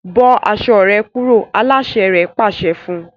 Bó aṣọ rẹ kúrò! aláṣẹ rẹ̀ pàṣẹ fún un